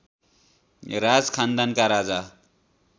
राज खानदानका राजा